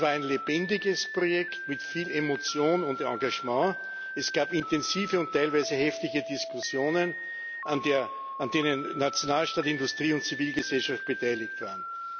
Es war ein lebendiges Projekt mit viel Emotion und Engagement, es gab intensive und teilweise heftige Diskussionen, an denen Nationalstaaten, Industrie und Zivilgesellschaft beteiligt waren.